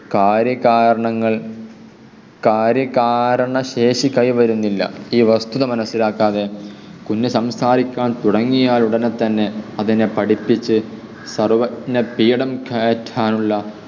കാര്യ കാരണങ്ങൾ കാര്യ കാരണ ശേഷി കൈവരുന്നില്ല. ഈ വസ്തുത മനസിലാക്കാതെ കുഞ്ഞു സംസാരിക്കാൻ തുടങ്ങിയാൽ ഉടനെ തന്നെ അതിനെ പഠിപ്പിച്ചു സർവജ്ഞ പീഠം കയറ്റാനുള്ള